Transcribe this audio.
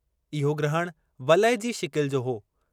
इहो ग्रहण वलय जी शिकिलि जो हो।